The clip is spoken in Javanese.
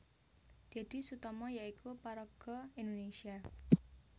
Deddy Sutomo yaiku paraga Indonésia